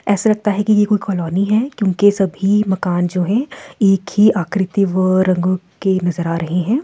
ऐसा लगता है कि ये कोई कॉलोनी है क्योंकि सभी मकान जो है एक ही आकृति व रंगों के नजर आ रहे हैं।